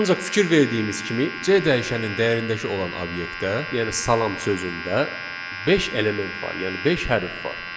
Ancaq fikir verdiyimiz kimi C dəyişənin dəyərindəki olan obyektə, yəni salam sözündə beş element var, yəni beş hərf var.